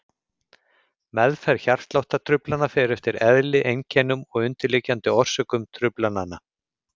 Meðferð hjartsláttartruflana fer eftir eðli, einkennum og undirliggjandi orsökum truflana.